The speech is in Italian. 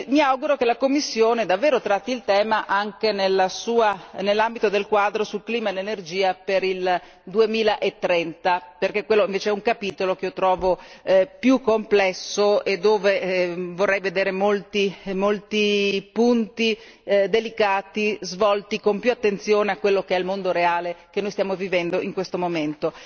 Mi auguro che la Commissione davvero tratti il tema anche nell'ambito del quadro sul clima e l'energia per il 2030, perché quello, invece, è un capitolo che io trovo più complesso e dove vorrei vedere molti punti delicati svolti con più attenzione a quello che è il mondo reale che noi stiamo vivendo in questo momento.